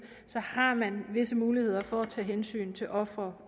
har man visse muligheder for at tage hensyn til offeret